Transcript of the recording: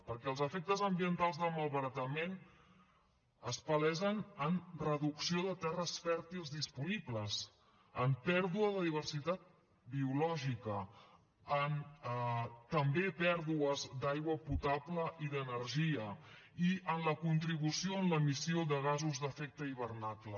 perquè els efectes ambientals del malbaratament es palesen en reducció de terres fèrtils disponibles en pèrdua de diversitat biològica en també pèrdues d’aigua potable i d’energia i en la contribució en l’emissió de gasos d’efecte hivernacle